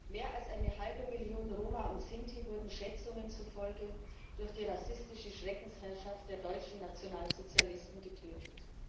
Herr Präsident! Mehr als eine halbe Million Roma und Sinti wurden Schätzungen zufolge durch die rassistische Schreckensherrschaft der deutschen Nationalsozialisten getötet.